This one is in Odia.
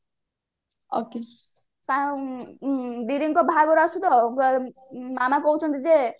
okay ସାଙ୍ଗ ଦିଦିଙ୍କ ବାହାଘର ଆସୁଛି ତ ମାମା କହୁଛନ୍ତି ଯେ